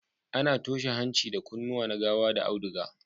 A na toshe hanci da kunnuwa na gawa da auduga